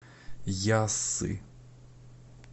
яссы